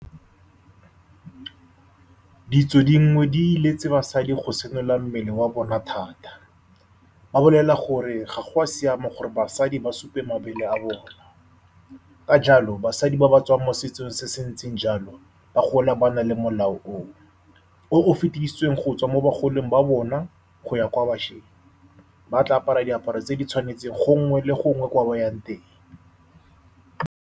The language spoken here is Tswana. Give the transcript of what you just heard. Ditso dingwe di iletse basadi go senola mmele wa bona thata. Ba bolelelwa gore ga go a siama gore basadi ba supe mabele a bona. Ka jalo basadi ba ba tswang mo setsong se se ntseng jalo ba gola ba na le molao o. O o fetedisitsweng go tswa mo bagolong ba bona go ya kwa bašweng. Ba tla apara diaparo tse di tshwanetseng gongwe le gongwe kwa ba yang teng.